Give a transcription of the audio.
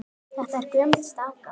Þetta er gömul staka.